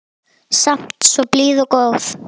Samt svo blíð og góð.